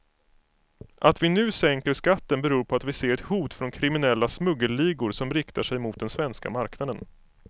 Att vi nu sänker skatten beror på att vi ser ett hot från kriminella smuggelligor som riktar sig mot den svenska marknaden.